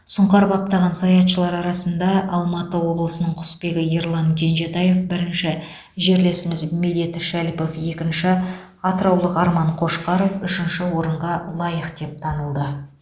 сұңқар баптаған саятшылар арасында алматы облысының құсбегі ерлан кенжетаев бірінші жерлесіміз медет шәліпов екінші атыраулық арман қошқаров үшінші орынға лайық деп танылды